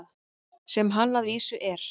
Sem hann að vísu er.